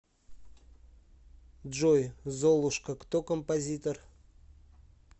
джой золушка кто композитор